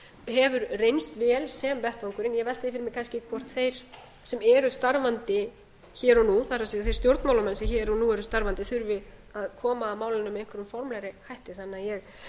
hefur reynst vel sem vettvangurinn ég velti fyrir mér kannski hvort þeir sem eru starfandi hér og nú það er þeir stjórnmálamenn sem hér og nú eru starfandi þurfi að koma að málinu með einhverjum formlegri hætti þannig að ég